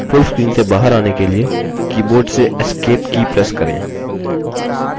full screen से बाहर in के लिए keyboard से escape की press करें